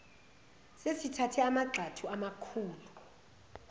sesithathe amagxathu amakhulu